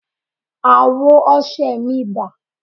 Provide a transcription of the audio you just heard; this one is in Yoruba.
Àwo ọṣẹ mi dà?